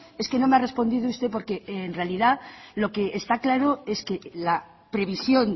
es que no me ha respondido usted porque en realidad lo que está claro es que la previsión